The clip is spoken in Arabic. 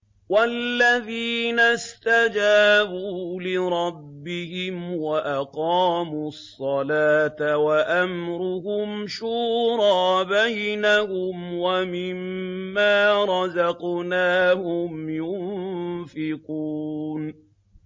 وَالَّذِينَ اسْتَجَابُوا لِرَبِّهِمْ وَأَقَامُوا الصَّلَاةَ وَأَمْرُهُمْ شُورَىٰ بَيْنَهُمْ وَمِمَّا رَزَقْنَاهُمْ يُنفِقُونَ